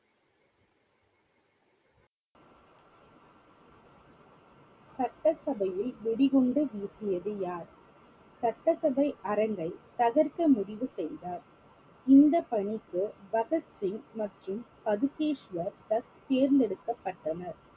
சட்டசபையில் வெடி குண்டு வீசியது யார்? சட்டசபை அரங்கை தகர்க்க முடிவு செய்தார் இந்த பணிக்கு பகத் சிங் மற்றும் பதுகேஷ்வர் தத் தேர்ந்தெடுக்கப்பட்டனர்